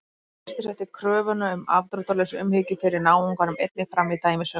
Kristur setti kröfuna um afdráttarlausa umhyggju fyrir náunganum einnig fram í dæmisögum.